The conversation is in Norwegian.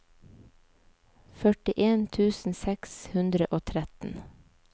førtien tusen seks hundre og tretten